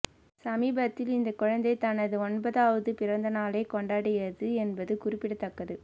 சமீபத்தில் இந்த குழந்தை தனது ஒன்பதாவது பிறந்த நாளை கொண்டாடியது என்பது குறிப்பிடத்தக்கது